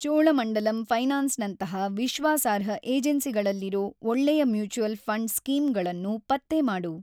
ಚೋಳಮಂಡಲಂ ಫೈನಾನ್ಸ್‌ನಂತಹ ವಿಶ್ವಾಸಾರ್ಹ ಏಜೆನ್ಸಿಗಳಲ್ಲಿರೋ ಒಳ್ಳೆಯ ಮ್ಯೂಚ್ವಲ್‌ ಫಂಡ್‌ ಸ್ಕೀಮ್‌ಗಳನ್ನು ಪತ್ತೆ ಮಾಡು